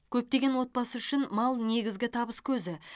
көптеген отбасы үшін мал негізгі табыс көзі